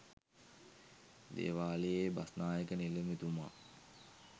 දේවාලයේ බස්නායක නිලමේතුමා